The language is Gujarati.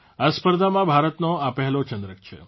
આ સ્પર્ધામાં ભારતનો આ પહેલો ચંદ્રક છે